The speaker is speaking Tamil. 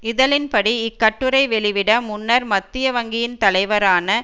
இதழின் படி இக்கட்டுரை வெளிவிட முன்னர் மத்திய வங்கியின் தலைவரான